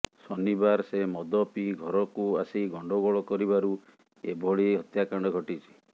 ଶନିବାର ସେ ମଦ ପିଇ ଘରକୁ ଆସି ଗଣ୍ଡଗୋଳ କରିବାରୁ ଏଭଳି ହତ୍ୟାକାଣ୍ଡ ଘଟିଛି